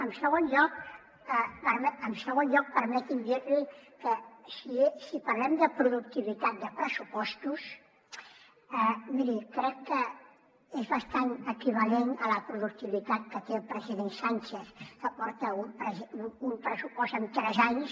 en segon lloc permeti’m dir li que si parlem de productivitat de pressupostos miri crec que és bastant equivalent a la productivitat que té el president sánchez que porta un pressupost en tres anys